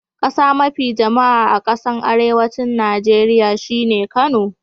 Kasa mafi jama'a a kasan arewancin Nijeriya shine Kano.